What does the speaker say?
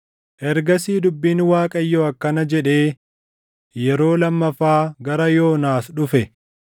Ergasii dubbiin Waaqayyoo akkana jedhee yeroo lammaffaa gara Yoonaas dhufe: